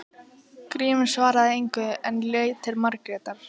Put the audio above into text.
Grímur svaraði engu en leit til Margrétar.